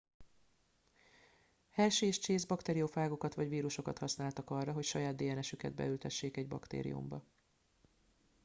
hershey és chase bakteriofágokat vagy vírusokat használtak arra hogy saját dns üket beültessék egy baktériumba